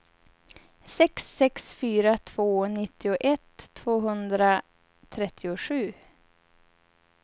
sex sex fyra två nittioett tvåhundratrettiosju